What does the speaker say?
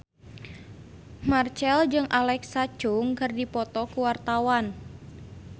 Marchell jeung Alexa Chung keur dipoto ku wartawan